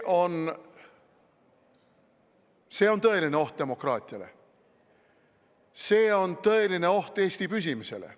See on tõeline oht demokraatiale, see on tõeline oht Eesti püsimisele.